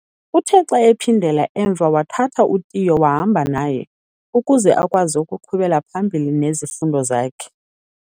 Uthe xa ephindela emva wathatha uTiyo wahamba naye, ukuze akwazi ukuqhubela phambili nezifundo zakhe.